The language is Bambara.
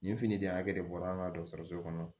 Nin finiden hakɛ de bɔra an ka dɔgɔtɔrɔso kɔnɔ